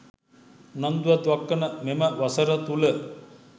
උනන්දුවක් දක්වන මෙම වසර තුළ